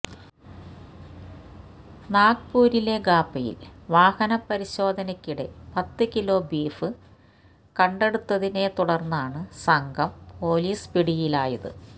നാഗ്പൂരിലെ ഖാപ്പയിൽ വാഹനപരിശോധനക്കിടെ പത്ത് കിലോ ബീഫ് കണ്ടെടുത്തതിനെ തുടര്ന്നാണ് സംഘം പൊലീസ് പിടിയിലായത്